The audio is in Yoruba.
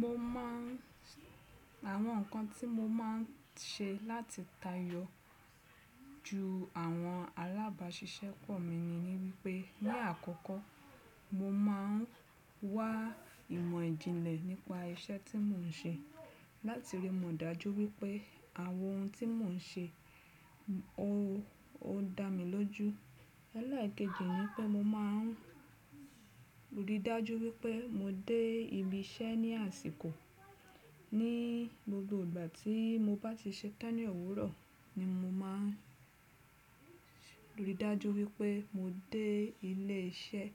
Mo máa n, àwọn nǹkan tí mo máa n ṣe láti tayọ ju àwọn alábàáṣiṣẹ́pọ̀ mi ni, ni wípé ní àkọ́kọ́ mo maa ń wá ìmọ̀ ìjìnlẹ̀ nípa iṣẹ́ tí mò ń ṣe láti rí mọ̀ dájú wípé àwọn ohun tí mò ń ṣe o, o dá mi lójú. Ẹlekejì ni i pé mo máa ń ríi dájú wípé mo dé ibi iṣẹ́ ní àsìkò. Ní gbogbo ìgbà tí mo bá ti ṣetán ní òwúrọ̀ ni mo máa n ríi dájú wípé mo dé ilé iṣẹ́